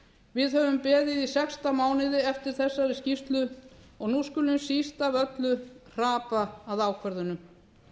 við höfum beðið í sextán mánuði eftir þessari skýrslu og nú skulum við síst af öllu hrapa að ákvörðunum